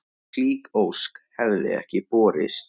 Slík ósk hefði ekki borist.